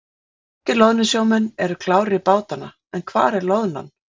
Norskir loðnusjómenn eru klárir í bátana en hvar er loðnan?